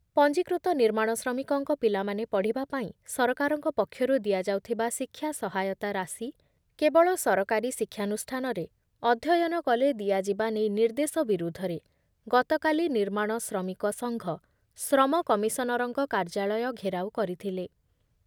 ପଞ୍ଜିକୃତ ନିର୍ମାଣ ଶ୍ରମିକଙ୍କ ପିଲାମାନେ ପଢ଼ିବା ପାଇଁ ସରକାରଙ୍କ ପକ୍ଷରୁ ଦିଆଯାଉଥିବା ଶିକ୍ଷା ସହାୟତା ରାଶି କେବଳ ସରକାରୀ ଶିକ୍ଷାନୁଷ୍ଠାନରେ ଅଧ୍ୟୟନକଲେ ଦିଆଯିବା ନେଇ ନିର୍ଦ୍ଦେଶ ବିରୁଦ୍ଧରେ ଗତକାଲି ନିର୍ମାଣ ଶ୍ରମିକ ସଂଘ ଶ୍ରମ କମିଶନରଙ୍କ କାର୍ଯ୍ୟାଳୟ ଘେରାଉ କରିଥିଲେ